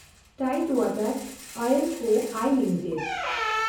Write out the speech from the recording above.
Tide ᱣᱟᱴᱮᱱᱰ oil co (I) limited